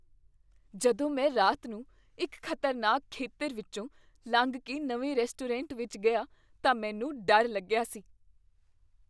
ਜਦੋਂ ਮੈਂ ਰਾਤ ਨੂੰ ਇੱਕ ਖ਼ਤਰਨਾਕ ਖੇਤਰ ਵਿੱਚੋਂ ਲੰਘ ਕੇ ਨਵੇਂ ਰੈਸਟੋਰੈਂਟ ਵਿੱਚ ਗਿਆ ਤਾਂ ਮੈਨੂੰ ਡਰ ਲੱਗਿਆ ਸੀ।